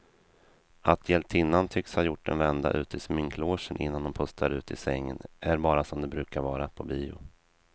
Att hjältinnan tycks ha gjort en vända ut i sminklogen innan hon pustar ut i sängen är bara som det brukar vara på bio.